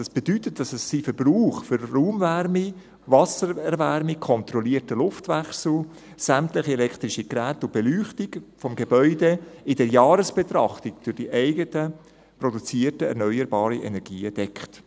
dies bedeutet, dass es seinen Verbrauch für die Raumwärme, die Wassererwärmung, den kontrollierten Luftwechsel, sämtliche elektrische Geräte und Beleuchtung des Gebäudes in der Jahresbetrachtung durch die eigens produzierten erneuerbaren Energien deckt.